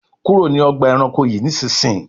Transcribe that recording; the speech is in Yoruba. kúrò ní Ọgbà ẹranko yi nísìsiyìí!